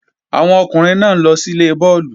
Àwọn ọkùnrin náà ń lọ síle bọ́ọ̀lù